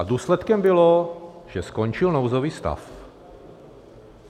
A důsledkem bylo, že skončil nouzový stav.